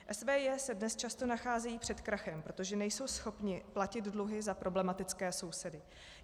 SVJ se dnes často nacházejí před krachem, protože nejsou schopny platit dluhy za problematické sousedy.